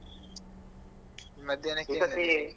ಮಧ್ಯಾಹ್ನಕ್ಕೆ .